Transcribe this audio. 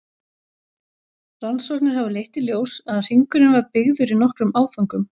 Rannsóknir hafa leitt í ljós að hringurinn var byggður í nokkrum áföngum.